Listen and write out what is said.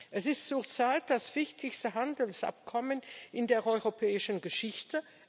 Es ist zurzeit das wichtigste Handelsabkommen in der europäischen Geschichte.